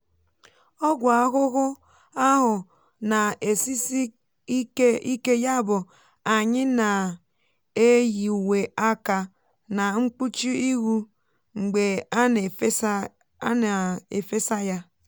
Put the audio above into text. ọgwụ ahụhụ ahu na-esisi ike ike yabụ anyị na-eyi uwe aka na mkpuchi ihu mgbe a na-efesa ya.